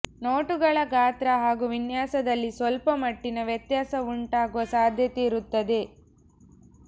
ನೋಟುಗಳ ಗಾತ್ರ ಹಾಗೂ ವಿನ್ಯಾಸದಲ್ಲಿ ಸ್ಪಲ್ಪ ಮಟ್ಟಿನ ವ್ಯತ್ಯಾಸ ಉಂಟಾಗುವ ಸಾಧ್ಯತೆ ಇರುತ್ತದೆ